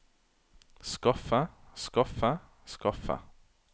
skaffe skaffe skaffe